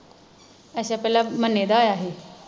ਅੱਛਾ ਪਹਿਲਾ ਮੰਨੇ ਦਾ ਆਇਆ ਹੀ